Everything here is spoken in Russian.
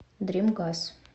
дрим газ